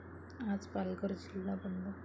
आज पालघर जिल्हा बंद